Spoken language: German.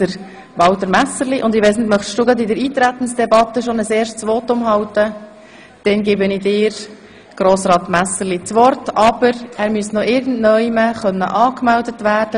Wir führen nun die Eintretensdebatte zum Gesetz über die bernischen Landeskirchen.